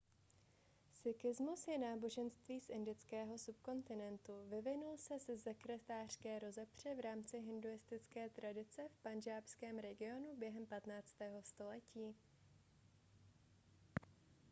sikhismus je náboženství z indického subkontinentu vyvinul se ze sektářské rozepře v rámci hinduistické tradice v pandžábském regionu během 15. století